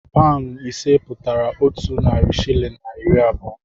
Paụnụ ise pụtara otu narị shịlịn na iri abụọ.